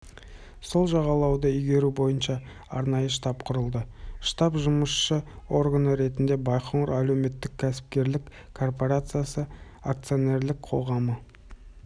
сол жағалауды игеру бойынша арнайы штаб құрылды штабтың жұмысшы органы ретінде байқоңыр әлеуметтік-кәсіпкерлік корпорациясы акционерлік қоғамы